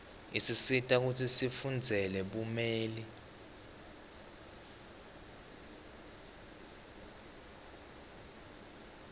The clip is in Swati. isisita kutsi sifundzele bumeli